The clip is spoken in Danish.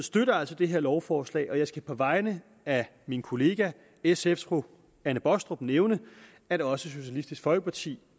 støtter altså det her lovforslag og jeg skal på vegne af min kollega sfs fru anne baastrup nævne at også socialistisk folkeparti